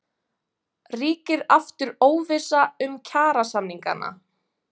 Ríkir aftur óvissa um kjarasamningana?